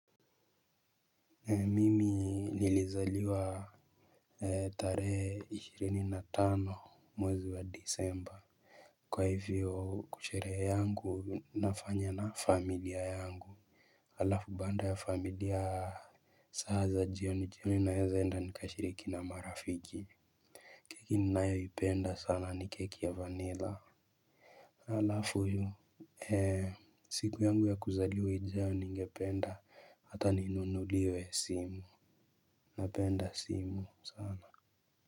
Mimi nilizaliwa tarehe ishirini na tano mwezi wa disemba. Kwa hivyo kusherehe yangu nafanya na familia yangu. Alafu baada ya familia saa za jioni jioni naeza enda nikashiriki na marafiki. Keki ninayoipenda sana ni keki ya vanilla. Alafu hiyo siku yangu ya kuzaliwa ijayo ningependa hata ninunuliwe simu napenda simu sana.